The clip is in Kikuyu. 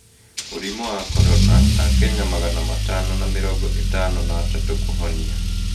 Mũrimũ wa Korona: Akenya magana matano na mĩrongo ĩtano na atatũ kũhonia